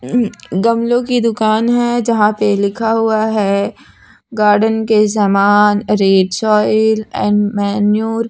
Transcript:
गमलों की दुकान है जहां पे लिखा हुआ है गार्डन के सामान रेट सॉइल एंड मैनूर --